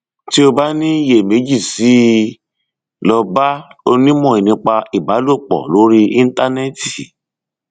tí o bá ní iyèméjì sí i lọ bá onímọ nípa ìbálòpọ lórí íńtánẹẹtì